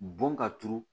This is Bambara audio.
Bon ka turu